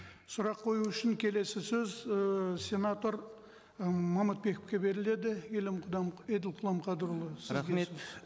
сұрақ қою үшін келесі сөз ыыы сенатор ы момытбековке беріледі еділ құламқадырұлы рахмет